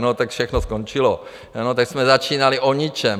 No, tak všechno skončilo, tak jsme začínali o ničem.